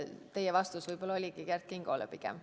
Teie vastus võib-olla oligi Kert Kingole pigem.